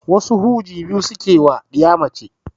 Wasu huji biyu suke ma ɗiya mace